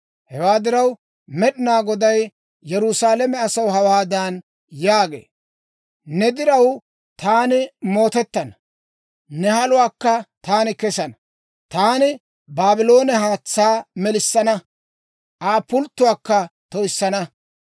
Hewaa diraw, Med'inaa Goday Yerusaalame asaw hawaadan yaagee; «Ne diraw taani mootettana; ne haluwaakka taani kessana. Taani Baabloone haatsaa melissana; Aa pulttotuwaakka toyissana.